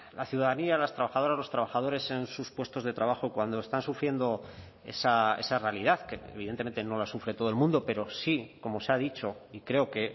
la ciudadanía las trabajadoras los trabajadores en sus puestos de trabajo cuando están sufriendo esa realidad que evidentemente no la sufre todo el mundo pero sí como se ha dicho y creo que